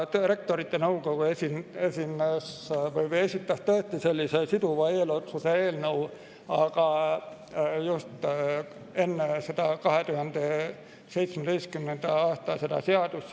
Rektorite Nõukogu esitas tõesti siduva eelotsuse eelnõu, aga just enne seda 2017. aasta seadust.